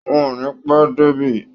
Wọn ò ní pẹ́ dé débí